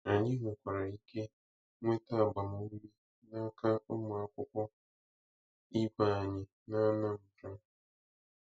Anyị nwekwara ike nweta agbamụume n'aka ụmụ akwụkwọ ibe anyị na Anambra.